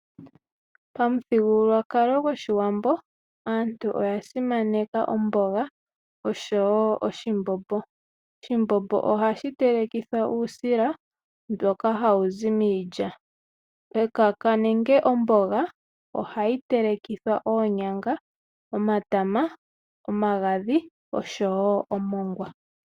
Pamuthigululwakalo goshiwambo aantu oya simaneka omboga osho wo oshimbombo. Oshimbombo ohashi telekithwa uusila mboka hawu zi miilya. Ekaka nenge omboga ohayi telekithwa oonyanga, omatama, omagadhi osho wo omongwa.